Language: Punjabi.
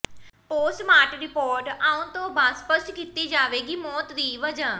ਪੋਸਟਮਾਰਟ ਰਿਪੋਰਟ ਆਉਣ ਤੋਂ ਬਾਅਦ ਸਪੱਸ਼ਟ ਕੀਤੀ ਜਾਵੇਗੀ ਮੌਤ ਦੀ ਵਜ੍ਹਾ